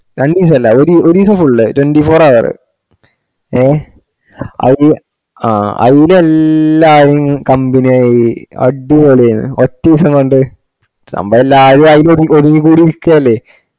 രണ്ടീസാല്ല ഒരീസം full twenty four hour ഏഹ് അത് ആഹ് അയിൽ എല്ലാരും company ആയി അടിപൊളി അയ്‌നും ഒറ്റിസം കൊണ്ട് സംഭവം എല്ലാരും ആയിൽ ഒതുങ്ങി കൂടിർക്കല്ലെ